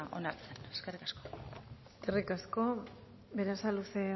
onartzeko eskerrik asko eskerrik asko berasaluze